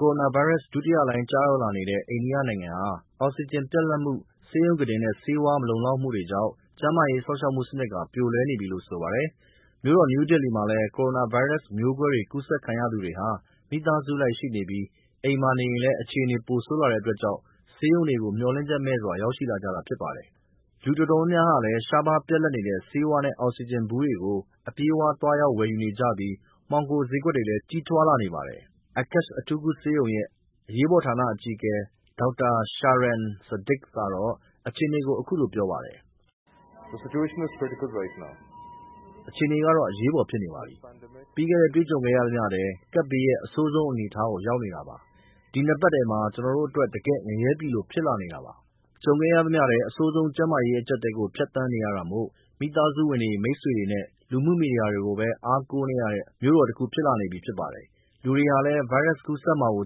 ကိုရိုနာဗိုင်းရပ်စ် ဒုတိယလှိုင်းကျရောက်နေတဲ့ အိန္ဒိယနိုင်ငံဟာ အောင်ဆီဂျင်ပြတ်လပ်မှု ၊ ဆေးရုံကုတင်နဲ့ဆေးဝါးမလုံလောက်မှုတွေကြောင့် ကျန်းမာရေးစောင့်ရှောက်မှုစနစ်ဟာ ပြိုလဲနေပြီလို့ဆိုပါတယ်။ မြို့တော် နယူးဒေလီမှာလည်း ကိုရိုနာဗိုင်းရပ်စ် မျိူးကွဲတွေကူးစက်ခံရသူတွေဟာ မိသားစုလိုက်ရှိနေပြီး အိမ်မှာနေရင်လည်း အခြေအနေ ပိုဆိုးလာတဲ့အတွက်ကြောင့် ဆေးရုံတွေကို မျှော်လင့်ချက်မဲ့စွာ ရောက်ရှိလာကြတာဖြစ်ပါတယ်။ လူတော်တော်များများဟာလည်း ရှားပါးပြတ်လပ်နေတဲ့ ဆေးဝါးနဲ့အောက်ဆီဂျင်ဘူးတွေ ကို အပြေးအလွှားသွားရောက်ဝယ်ယူနေကြပြီး မှောင်ခိုဈေးကွယ်တွေလည်း ကြီးထွားလာနေပါတယ်။ Aakash အထူးကုဆေးရုံရဲ့ အရေးပေါ်ဌာနအကြီးအကဲ Dr. Shaarang Sachdev ကတော့ အခြေအနေကို အခုလို ပြောပါတယ်။ “ အခြေအနေကတော့ အရေးပေါ်ဖြစ်နေပါပြီ။ ပြီးခဲ့တဲ့ တွေ့ကြုံခဲ့သမျှထဲ ကပ်ဘေးရဲ့ အဆိုးဆုံး အနေအထားကို ရောက်နေတာပါ။ ဒီ ၂ ပတ်ထဲမှာ ကျနော်တို့အတွက် တကယ့် ငရဲပြည်လို ဖြစ်လာနေတာပါ။” ကြုံခဲ့ရသမျှထဲ အဆိုးဆုံးကျန်းမာရေး အကျပ်အတည်းကို ဖြတ်သန်းနေရတာမို့မိသားစုဝင်တွေ၊ မိတ်ဆွေတွေနဲ့လူမှုမီဒီယာတွေကိုပဲ အားကိုးနေရတဲ့ မြို့တော်တခုဖြစ်လာနေပြီဖြစ်ပါတယ်။ လူတွေဟာလည်း ဗိုင်းရပ်စ်ကူးစက်မှာကို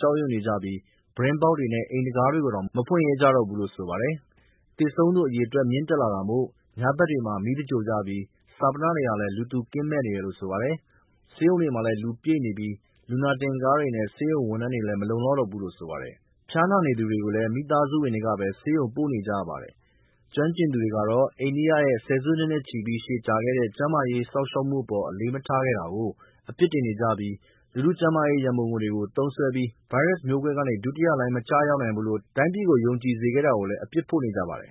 ကြောက်ရွံ့နေကြပြီး ပြတင်းပေါက်တွေနဲ့ အိမ်တံခါးတွေကိုတောင် မဖွင့် ရဲကြတော့ဘူးလို့ဆိုပါတယ်။ သေဆုံးသူအရေအတွက် မြင့်တက်လာတာမို့ညဘက်တွေမှာ မီး သင်္ဂြိုဟ်ကြပြီး ဈာပနတွေဟာလည်း လူသူကင်းမဲ့နေတယ်လို့ဆိုပါတယ်။ ဆေးရုံတွေမှာလည်း လူပြည့်နေပြီး လူနာတင်ကားတွေနဲ့ဆေးရုံဝန်ထမ်းတွေလည်း မလုံလောက်တော့ဘူးလို့ဆိုပါတယ်။ ဖျားနာနေသူတွေကိုလည်း မိသားစုဝင်တွေကပဲ ဆေးရုံပို့နေကြရပါတယ်။ ကျွမ်းကျင်သူတွေကတော့ အိန္ဒိယရဲ့ ဆယ်စုနှစ်နဲ့ချီပြီးရှည်ကြာခဲ့တဲ့ ကျန်းမာရေးစောင့်ရှောက်မှုအပေါ် အလေးမထားခဲ့တာကို အပြစ်တင်နေကြပြီး လူထုကျန်းမာရေး ရန်ပုံငွေတွေကို သုံးစွဲပြီး မျိူးကွဲဗိုင်းရပ်စ်ကနေပြီး ဒုတိယလှိုင်းမကျရောက်တော့ဘူးလို့တိုင်းပြည်ကို ယုံကြည်စေတာကို လည်း အပြစ်ဖို့နေကြပါတယ်